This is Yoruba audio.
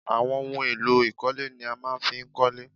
Àwọn ohun èlò ìkọ́lé ni a máa fi ń kọ́lé